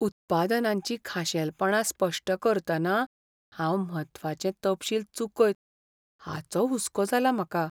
उत्पादनाचीं खाशेलपणां स्पश्ट करतना हांव म्हत्वाचे तपशील चुकयत हाचो हुसको जाला म्हाका.